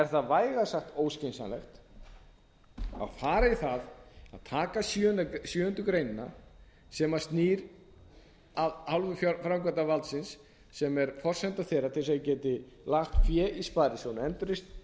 það vægast sagt óskynsamlegt að fara í það að taka sjöundu greinar sem snýr að hálfu framkvæmdarvaldsins sem er forsenda þeirra til þess að þeir geti lagt fé í